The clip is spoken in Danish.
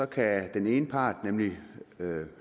kan den ene part nemlig